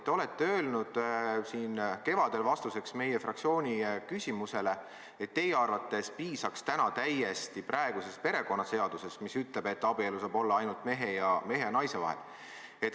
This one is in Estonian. Te ütlesite siin kevadel vastuseks meie fraktsiooni küsimusele, et teie arvates piisaks täna täiesti praegusest perekonnaseadusest, mis ütleb, et abielu saab olla ainult mehe ja naise vahel.